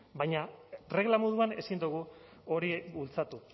baina regla moduan ezin dugu hori bultzatu